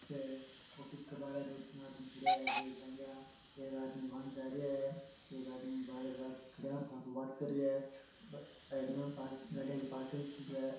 है ऑफिस के बाहर दो तीन आदमी खड़ा है बेग टांग्या एक आदमी मायन जा रहाे है एक आदमी बाहर खड़या फ़ोन पर बात कर रहा है साइड में गाड़िया की पार्किंग है।